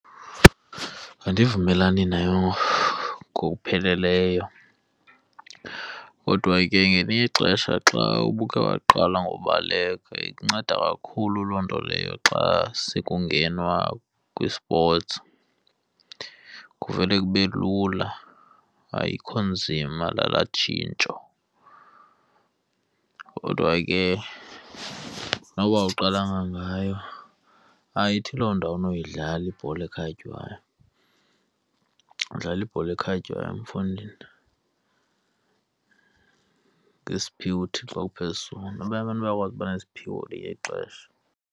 Andivumelani nayo ngokupheleleyo kodwa ke ngelinye ixesha xa ubuke waqala ngokubaleka ikunceda kakhulu loo nto leyo xa se kungenwa kwisipotsi, kuvele kube lula ayikho nzima nalaa tshintsho. Kodwa ke noba uqala ngayo ayithi loo nto awunokuyidlala ibhola ekhatywayo, udlala ibhola ekhatywayo mfondini ngesiphiwo uThixo akuphe sona. Abanye abantu bayakwazi ukuba nesiphiwo ngelinye ixesha.